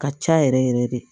Ka ca yɛrɛ yɛrɛ yɛrɛ de